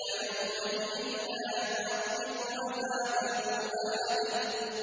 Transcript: فَيَوْمَئِذٍ لَّا يُعَذِّبُ عَذَابَهُ أَحَدٌ